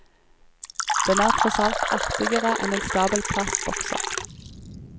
Den er tross alt artigere enn en stabel plastbokser.